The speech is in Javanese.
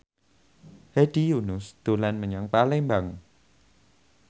Hedi Yunus dolan menyang Palembang